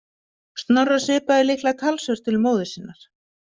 Snorra svipaði líklega talsvert til móður sinnar.